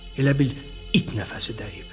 Elə bil it nəfəsi dəyib.